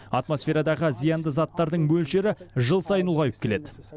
атмосферадағы зиянды заттардың мөлшері жыл сайын ұлғайып келеді